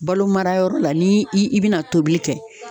Balo mara yɔrɔ la ni i i bina tobili kɛ